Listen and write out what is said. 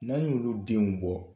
N'an y'olu denw bɔ